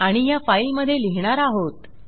आणि ह्या फाईलमधे लिहिणार आहोत